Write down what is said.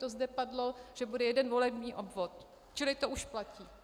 To zde padlo, že bude jeden volební obvod, čili to už platí.